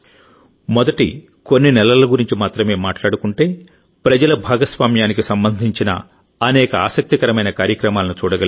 మొదటి కొన్ని నెలల గురించి మాత్రమే మాట్లాడుకుంటే ప్రజల భాగస్వామ్యానికి సంబంధించిన అనేక ఆసక్తికరమైన కార్యక్రమాలను చూడగలిగాం